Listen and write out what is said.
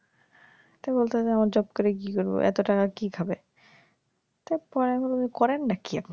তো বলেতেছে আমার জব করে কি করব এত টাকা কি খাবে তো পরে আমি বললাম যে করেনডা কি আপনে